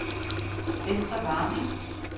Esther Warming